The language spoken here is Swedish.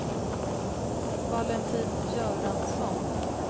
Valentin Göransson